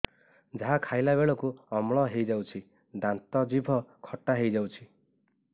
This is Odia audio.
ଯାହା ଖାଇଲା ବେଳକୁ ଅମ୍ଳ ହେଇଯାଉଛି ଦାନ୍ତ ଜିଭ ଖଟା ହେଇଯାଉଛି